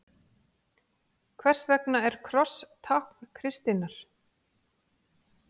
Hvers vegna er kross tákn kristninnar?